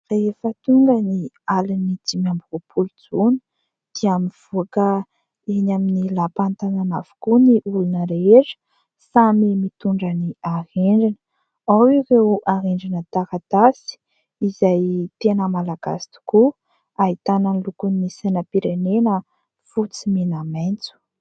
Rehefa tonga ny alin'ny dimy amby roapolo jona dia mivoaka eny amin'ny lapan'ny tanàna avokoa ny olona rehetra, samy mitondra ny arendrina. Ao ireo arendrina taratasy izay tena malagasy tokoa. Ahitana ny lokon'ny sainam-pirenena fotsy, mena, maitso.